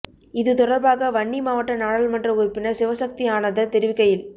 இது தொடர்பாக வன்னி மாவட்ட நாடாளுமன்ற உறுப்பினர் சிவசக்தி ஆனந்தன் தெரிவிக்கையில்